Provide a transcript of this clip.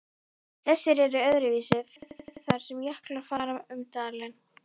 Þessu er öðruvísi farið þar sem jöklar fara um dali.